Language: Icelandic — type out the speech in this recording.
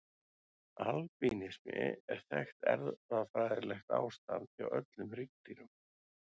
Albínismi er þekkt erfðafræðilegt ástand hjá öllum hryggdýrum.